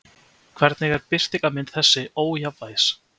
Hvernig er birtingarmynd þessa ójafnvægis?